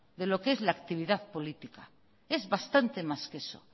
de lo que es la actividad política es bastante más que eso